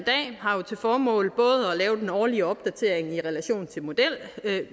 har både til formål at lave den årlige opdatering i relation til modellerne